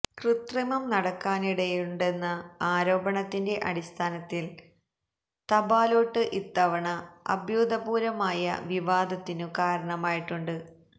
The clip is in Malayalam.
കൃത്രിമം നടക്കാനിടയുണ്ടെന്ന ആരോപണത്തിന്റെ അടിസ്ഥാനത്തില് തപാല്വോട്ട് ഇത്തവണ അഭ്യൂതപൂര്വമായ വിവാദത്തിനു കാരണമായിട്ടുമുണ്ട്